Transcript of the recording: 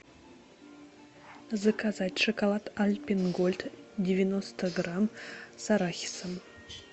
заказать шоколад альпен гольд девяносто грамм с арахисом